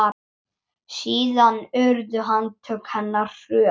Síðan urðu handtök hennar hröð.